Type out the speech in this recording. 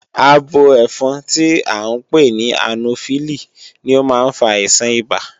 Abo ẹ́fọn tí à ń pè ní ànófílí ni ó má ń fa àìsàn ibà